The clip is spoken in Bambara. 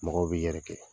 Mɔgɔw bi yɛrɛ kɛ